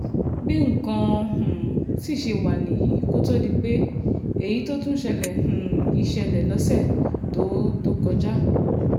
bí nǹkan um sì ṣe wá nìyí kó tóó di pé èyí tó tún ṣẹlẹ̀ um yìí ṣẹlẹ̀ lọ́sẹ̀ tó tó kọjá